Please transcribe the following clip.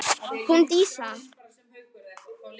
Hún Dísa?